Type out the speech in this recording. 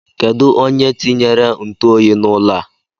Kedụ onye tinyere ntụoyi n'ụlọ a?